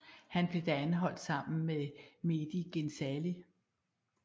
Han blev da anholdt sammen med Mehdi Ghezali